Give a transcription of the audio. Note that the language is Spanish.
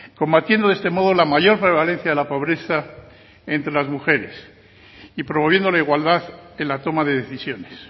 combatiendo de este modo la mayor prevalencia de la pobreza entre las mujeres y promoviendo la igualdad en la toma de decisiones